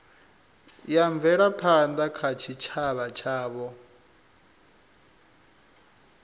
ya mvelaphanda kha tshitshavha tshavho